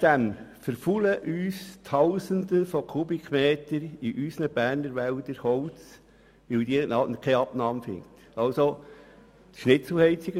Zudem verfaulen uns tausende Kubikmeter Holz in unseren Berner Wäldern, weil sie keine Abnahme finden.